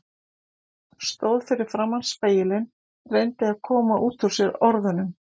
Stóð fyrir framan spegilinn, reyndi að koma út úr sér orðunum